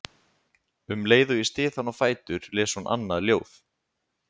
Um leið og ég styð hana á fætur les hún annað ljóð